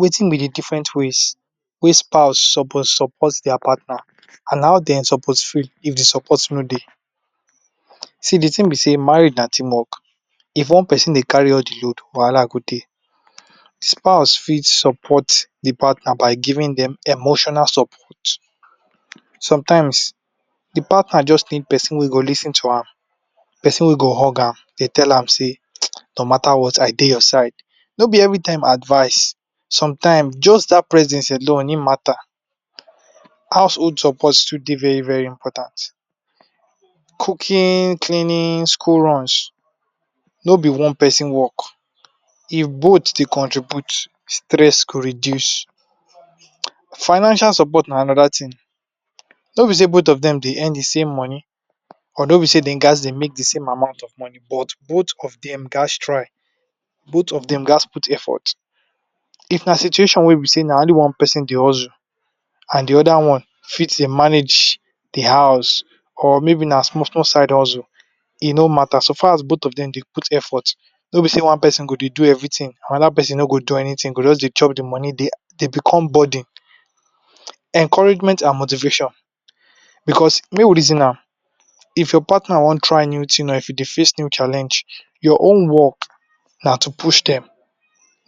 Wetin be d different ways wey spouse suppose support dia partner and how dem suppose feel if d support no Dey? See di thing be sey marriage na team work, if one person Dey carry all di load wahala go Dey, spouse fit support di partner by giving dem emotional support, sometimes di partner jus need person we go lis ten to am, person wey go hug am, tell am say no matter what I Dey your side, no b every time advice, sometime just dat presence alone hin matter, household support still dey very very important, cooking, cleaning, school runs, no be one person work, if both Dey contribute, stress go reduce, financial support na anoda thing, no be sey both of dem dey earn di same moni, or b sey dem gaz dey make d same amount of money, but both of dem gaz try both of dem gaz put effort, if na situation wey be sey na only one person dey hustle and di oda one fit dey manage d house, or maybe na small small side hustle e no matter, so far as both of dem dey put effort no bi say one person do everything, anoda persin no go do anything dey go jus dey chop d money Dey become burden. Encouragement and motivation because make we reason am, if your partner wan try new thing or if hin dey face new challenge, your own work na to push dem,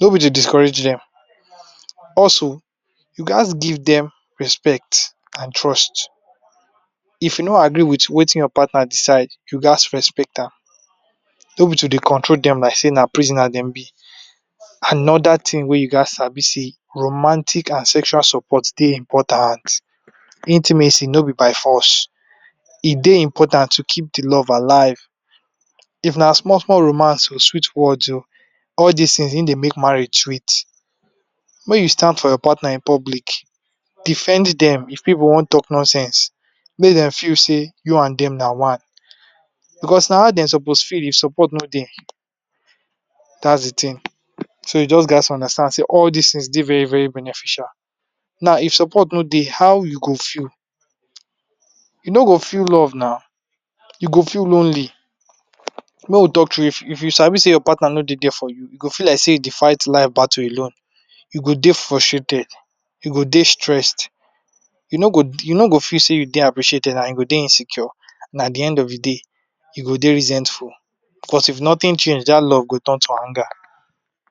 no be to discourage dem, also u gats give dem respect and trust, if u no agree with Wetin your partner decide, u gaz respect am, no be to dey control dem like sey na prisoner dem be. Another thing wey u gats sabi sey romantic and sexual support dey important, intimacy no be by force e dey important to keep di love alive, if na small small romance or sweet words ooo all dis things e dey make marriage sweet. Mey you stand for your partner for public, defend dem if pipu wan talk nonsense, make dem feel sey u and dem na one, because na ho dem suppose feel if support no dey, dats d thing, so u just gatz to understand sey all these things dey very beneficial, now if support no dey how u go feel? U no go feel love na u go feel lonely, make we talk thru if u sabi say your partner no dey there for you you feel like sey u dey fight life battle alone, you go dey frustrated, u go dey stressed, u no go feel sey u dey appreciated and u go dey insecure na at d end of di day you go dey resentful because of nothing change dat love go turn to anger.